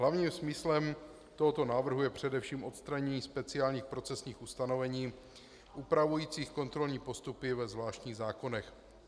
Hlavním smyslem tohoto návrhu je především odstranění speciálních procesních ustanovení upravujících kontrolní postupy ve zvláštních zákonech.